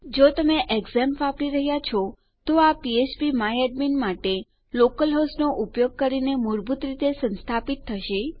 જો તમે ઝેમ્પ વાપરી રહ્યા છો તો આ ફ્ફ્પ માય એડમિન માટે લોકલ હોસ્ટનો ઉપયોગ કરીને મૂળભૂત રીતે સંસ્થાપિત થશે